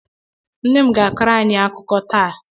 Nne m ga-akọrọ anyị akụkọ taa.